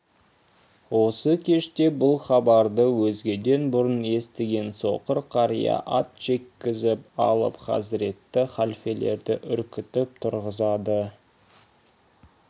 осы кеште бұл хабарды өзгеден бұрын естіген соқыр қария ат жеккізіп алып хазіретті халфелерді үркітіп тұрғызады